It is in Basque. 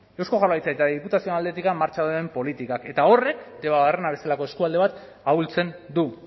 eusko jaurlaritza eta diputazioen aldetik martxan dauden politikak eta horrek debabarrena bezalako eskualde bat ahultzen du